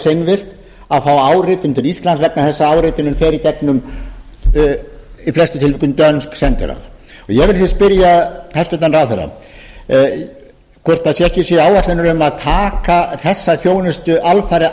seinvirkt að fá áritun til íslands vegna þess að áritunin fer í gegnum í flestum tilvikum dönsk sendiráð ég vil því spyrja hæstvirtan ráðherra hvort ekki séu áætlanir um að taka þessa þjónustu alfarið